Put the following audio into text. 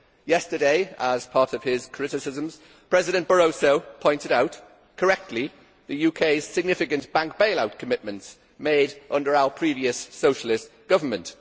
Yesterday, as part of his criticisms, President Barroso pointed out correctly the UK's significant bank bailout commitments made under our previous, Socialist, government.